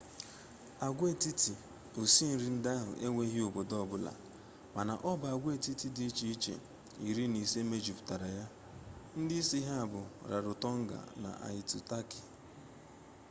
agwaetiti osi nri ndị ahụ enweghị obodo ọ bụla mana ọ bụ agwaetiti dị iche iche iri na ise mejupụtara ya ndị isi ha bụ rarotonga na aitutaki